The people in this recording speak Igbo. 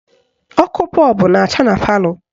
Ọkụ bọọbụ na-acha na palọ